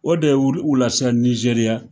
O de ye olu wu lasiran Nizeriya.